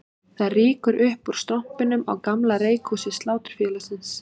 Það rýkur upp úr strompinum á gamla reykhúsi Sláturfélagsins